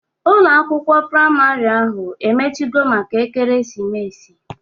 Ụlọ akwụkwọ praịmarị ahụ emechigo maka ekeresimesi?